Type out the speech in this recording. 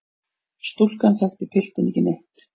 Stúlkan þekkti piltinn ekki neitt.